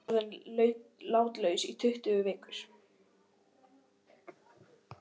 Innistaðan er orðin látlaus í tuttugu vikur.